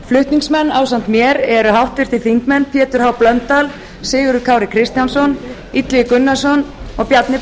flutningsmenn ásamt mér eru háttvirtir þingmenn pétur h blöndal sigurður kári kristjánsson illugi gunnarsson og bjarni